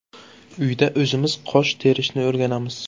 Uyda o‘zimiz qosh terishni o‘rganamiz.